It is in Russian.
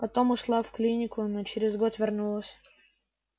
потом ушла в клинику но через год вернулась